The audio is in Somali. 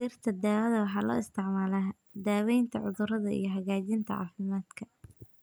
Dhirta daawada waxaa loo isticmaalaa daaweynta cudurada iyo hagaajinta caafimaadka.